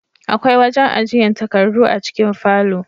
Akwai wajen ajiyan takardu a cikin falo